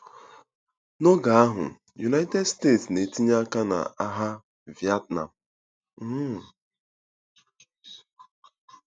N'oge ahụ, United States na-etinye aka na agha Vietnam. um